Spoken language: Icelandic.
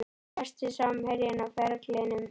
Besti samherjinn á ferlinum?